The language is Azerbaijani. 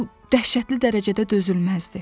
Bu dəhşətli dərəcədə dözülməzdir.